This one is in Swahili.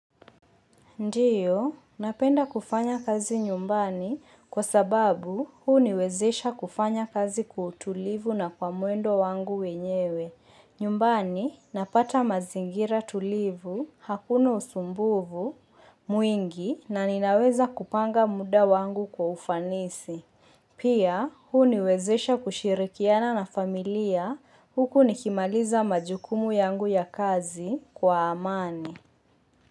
Ndiyo, napenda kufanya kazi nyumbani kwa sababu huniwezesha kufanya kazi kwa utulivu na kwa mwendo wangu wenyewe. Nyumbani, napata mazingira tulivu, hakuna usumbuvu, mwingi na ninaweza kupanga muda wangu kwa ufanisi. Pia, huniwezesha kushirikiana na familia huku nikimaliza majukumu yangu ya kazi kwa amani.